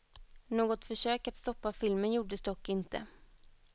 Något försök att stoppa filmen gjordes dock inte.